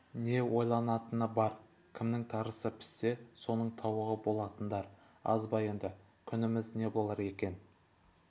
не ойланатыны бар кімнің тарысы піссе соның тауығы болатындар аз ба енді күніміз не болар екен